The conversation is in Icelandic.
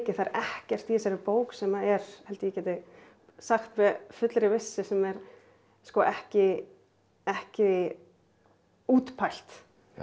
það er ekkert í þessari bók sem er held ég geti sagt með fullri vissu sem er ekki ekki útpælt